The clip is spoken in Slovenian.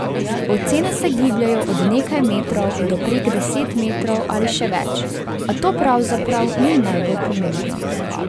Ocene se gibljejo od nekaj metrov do prek deset metrov ali še več, a to pravzaprav ni najbolj pomembno.